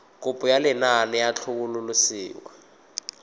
kopo ya lenaane la tlhabololosewa